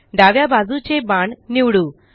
डाव्या बाजूचे बाण निवडू